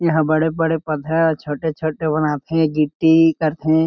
इहा बड़े-बड़े पथरा छोटे-छोटे बनाथे गिट्टी करथे।